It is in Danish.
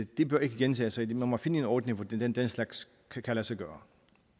det bør ikke gentage sig man må finde en ordning så den den slags kan lade sig gøre